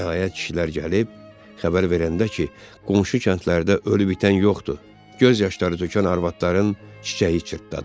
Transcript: Nəhayət kişilər gəlib xəbər verəndə ki, qonşu kəndlərdə ölü-bitən yoxdur, göz yaşları tökən arvadların çiçəyi çırtdadı.